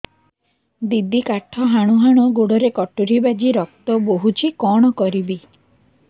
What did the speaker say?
ଦିଦି କାଠ ହାଣୁ ହାଣୁ ଗୋଡରେ କଟୁରୀ ବାଜି ରକ୍ତ ବୋହୁଛି କଣ କରିବି